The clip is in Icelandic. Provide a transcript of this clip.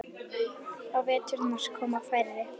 Á veturna koma færri.